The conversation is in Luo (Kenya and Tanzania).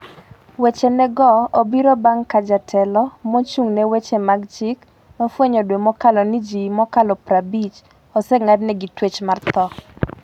weche ne go obiro bang’ ka jatelo mochung' ne weche mag chik nofwenyo dwe mokalo ni ji mokalo 50 oseng'ad negi twech mar tho.